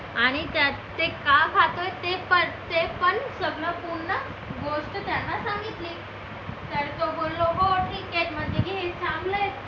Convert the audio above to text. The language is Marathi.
आणि ते का खातोय ते पण सगळं पूर्ण गोष्ट त्यांना सांगितली तर तो बोललो हो ठीक आहे घे चांगला आहे.